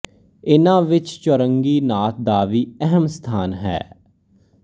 ਇਹਨਾਂ ਵਿੱਚ ਚੌਰੰਗੀ ਨਾਥ ਦਾ ਵੀ ਅਹਿਮ ਸਥਾਨ ਹੈ